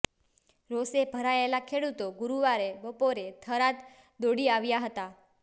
રોષે ભરાયેલા ખેડુતો ગુરુવારે બપોરે થરાદ દોડી આવ્યા હતા